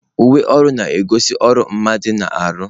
Uwe ọrụ na-egosi ọrụ mmadụ na-arụ.